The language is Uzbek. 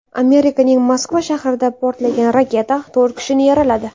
Amerikaning Moskva shahrida portlagan raketa to‘rt kishini yaraladi.